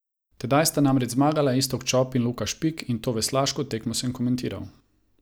Tedaj sta namreč zmagala Iztok Čop in Luka Špik, in to veslaško tekmo sem komentiral.